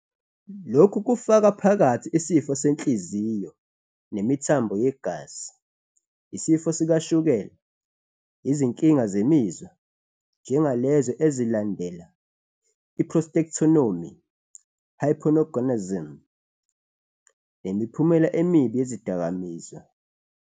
Lokhu kufaka phakathi isifo senhliziyo nemithambo yegazi, isifo sikashukela, izinkinga zemizwa, njengalezo ezilandela i-prostatectomy, hypogonadism, nemiphumela emibi yezidakamizwa.